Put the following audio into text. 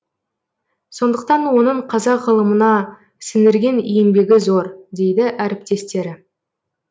сондықтан оның қазақ ғылымына сіңіргенеңбегі зор дейді әріптестері